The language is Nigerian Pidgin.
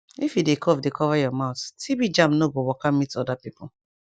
if you dey cough dey cover your mouth so germ no go waka meet other pipo